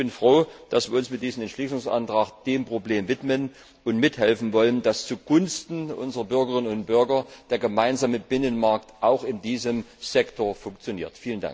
Ich bin froh, dass wir uns mit diesem Entschließungsantrag dem Problem widmen und mithelfen wollen, dass zugunsten unserer Bürgerinnen und Bürger der Gemeinsame Binnenmarkt auch in diesem Sektor funktioniert.